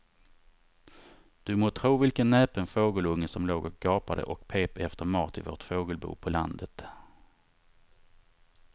Du må tro vilken näpen fågelunge som låg och gapade och pep efter mat i vårt fågelbo på landet.